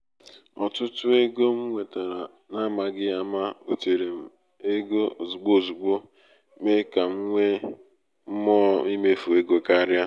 otutu ego m nwetara n’amaghị ama butere m ego ozugbo ozugbo mee ka ka m nwee mmụọ imefu ego karịa.